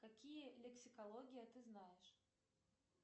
какие лексикология ты знаешь